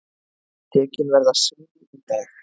Tekin verða sýni í dag.